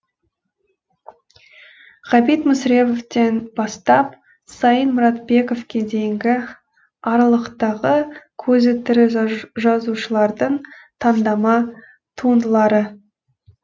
ғабит мүсіреповтен бастап сайын мұратбековке дейінгі аралықтағы көзі тірі жазушылардың таңдама туындылары